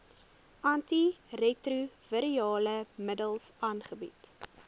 antiretrovirale middels aangebied